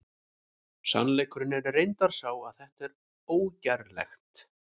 Sannleikurinn er reyndar sá að þetta er ógerlegt!